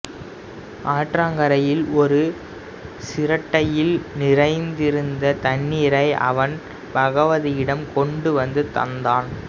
ஆற்றங்கரையில் ஒரு சிரட்டையில் நிறைந்திருந்த தண்ணீரை அவன் பகவதியிடம் கொண்டு வந்து தந்தான்